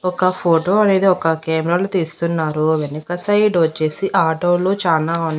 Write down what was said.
ఒక ఫోటో అనేది ఒక కెమరా లో తీస్తున్నారు వెనక సైడొచ్చేసి ఆటోలు చానా ఉన్--